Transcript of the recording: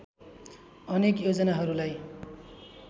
अनेक योजनाहरूलाई